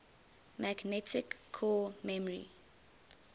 magnetic core memory